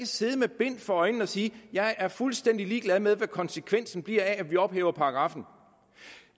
sidde med bind for øjnene og sige jeg er fuldstændig ligeglad med hvad konsekvensen bliver af at vi ophæver paragraffen